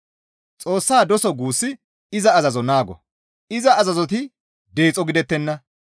Xoossa doso guussi iza azazo naago; iza azazoti deexo gidettenna.